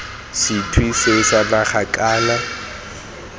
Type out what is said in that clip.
sethwe seo sa naga kana